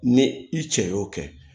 Ni i cɛ y'o kɛ